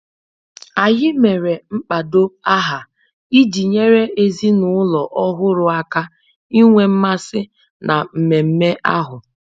Anyị mere mkpado aha iji nyere ezinụlọ ọhụrụ aka inwe mmasị na mmemme ahụ